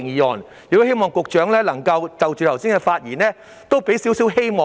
我亦希望局長能夠就剛才議員的發言，給予我們一點希望。